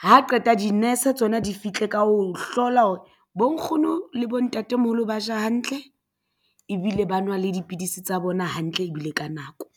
Ha qeta di-nurse tsona di fihle ka ho hlola hore bo nkgono le bontatemoholo ba ja hantle ebile ba nwa le dipidisi tsa bona hantle ebile ka nako.